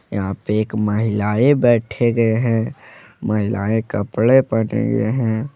यहां पे एक महिलाएं बैठे गये हैं महिलाएं कपड़े पहने हुए हैं।